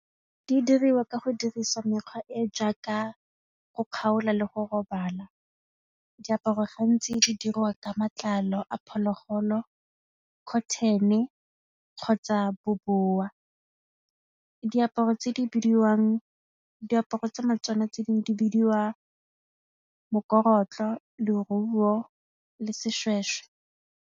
Di diriwa ka go dirisa mekgwa e e jaaka go kgaola le go robala, diaparo gantsi di diriwa ka matlalo a diphologolo, cotton-e kgotsa bobowa. Diaparo tsa tsona tse dingwe di bidiwa mokorotlo, leruo le seshweshwe.